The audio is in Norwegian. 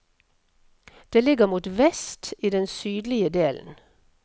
Det ligger mot vest, i den sydlige delen.